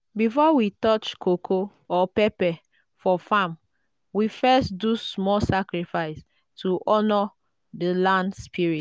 before we touch coco or pepper for farm we first do small sacrifice to honour the land spirits.